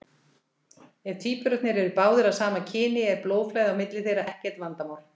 Ef tvíburarnir eru báðir af sama kyni er blóðflæði á milli þeirra ekkert vandamál.